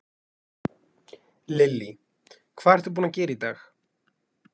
Lillý: Hvað ertu búinn að gera í dag?